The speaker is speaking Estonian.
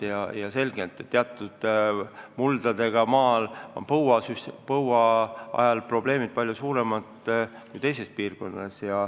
Ja selge, et teatud muldadega maal on põuaajal probleemid palju suuremad kui teistes piirkondades.